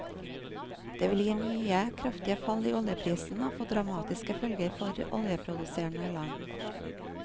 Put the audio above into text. Det vil gi nye kraftige fall i oljeprisen og få dramatiske følger for oljeproduserende land.